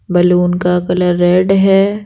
Balloon का colour red है।